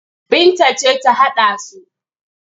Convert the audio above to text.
Binta ce ta haɗa su,